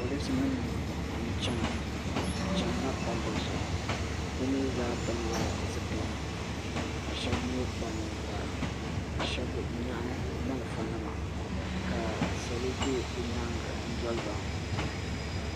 Polisi nima n chiɛna bi chɛnila palli zuɣu bi mi zaa pili la zupila ka shɛba mi kpa ninkpara shɛba nyaɣi malifa nima ka salo bɛ bi yɛanga n doli ba.